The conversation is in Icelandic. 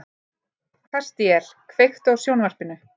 Kastíel, kveiktu á sjónvarpinu.